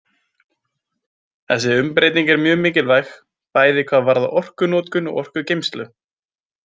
Þessi umbreyting er mjög mikilvæg bæði hvað varðar orkunotkun og orkugeymslu.